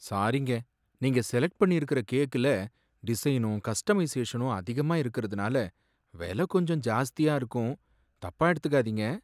சாரிங்க, நீங்க செலக்ட் பண்ணியிருக்குற கேக்குல டிசைனும் கஸ்டமைசேஷனும் அதிகமா இருக்குறதுனால விலை கொஞ்சம் ஜாஸ்தியா இருக்கும். தப்பா எடுத்துக்காதீங்க.